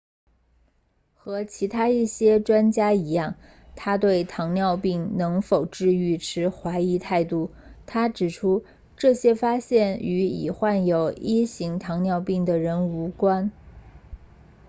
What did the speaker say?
和其他一些专家一样他对糖尿病能否治愈持怀疑态度他指出这些发现与已患有1型糖尿病的人无关